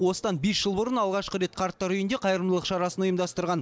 осыдан бес жыл бұрын алғашқы рет қарттар үйінде қайырымдылық шарасын ұйымдастырған